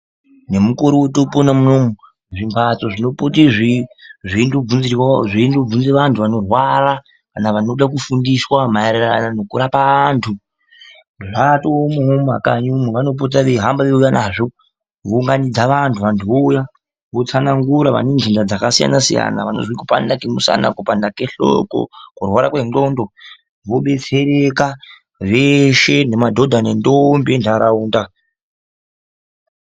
Nemukore wetoopona unowu, zvimphatso zvinopote zveindobvunze vanthu vanorwara kana vanoda kufundiswa maererano nekurapa anthu zvatoomwowo mumakanyi umu vanopota veihamba veiuya nazvo veiunganidza vanthu vohamba nazvo veiuya kootsanangura vane kupanda kwemusana kupanda kwehloko kurwara kwendxondo vobetsereka veshe nemadhodha nendombi entharaunda.